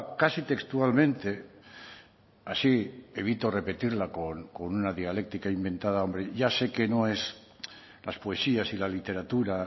casi textualmente así evito repetirla con una dialéctica inventada hombre ya sé que no es las poesías y la literatura